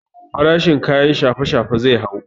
Farashin kayan shafe shafe zai hau